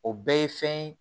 O bɛɛ ye fɛn ye